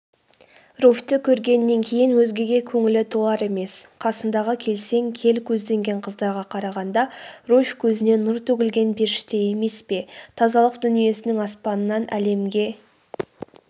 руфьті көргеннен кейін өзгеге көңілі толар емес қасындағы келсең кел көзденген қыздарға қарағанда руфь көзінен нұр төгілген періште емес пе тазалық дүниесінің аспанынан әлемге